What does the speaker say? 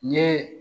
N ye